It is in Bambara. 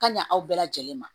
Ka ɲa aw bɛɛ lajɛlen ma